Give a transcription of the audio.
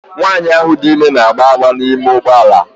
Nwanyị ahụ dị ime na-agbọ agbọ n'ime ụgbọ ala.